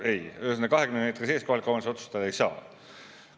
Ei, ühesõnaga, 20 meetri sees kohalik omavalitsus otsustada ei saa.